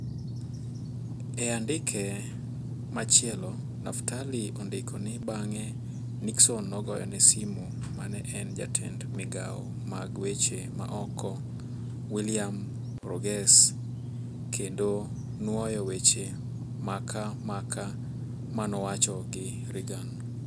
E andike machielo, Naftali ondiko ni bang'e Nixon nogoyo ne simu mane en jatend migao mag weche ma oko William Rogers kendo nuoyo weche maka maka manowacho gi Reagan.